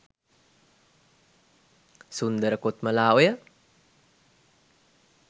සුන්දර කොත්මලා ඔය